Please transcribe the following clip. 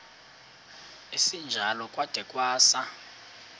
esinjalo kwada kwasa